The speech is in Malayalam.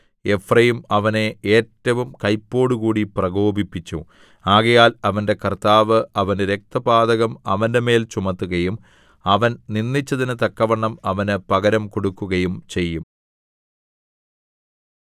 എഫ്രയീം അവനെ ഏറ്റവും കൈപ്പോടുകൂടി പ്രകോപിപ്പിച്ചു ആകയാൽ അവന്റെ കർത്താവ് അവന്റെ രക്തപാതകം അവന്റെമേൽ ചുമത്തുകയും അവൻ നിന്ദിച്ചതിന് തക്കവണ്ണം അവന് പകരം കൊടുക്കുകയും ചെയ്യും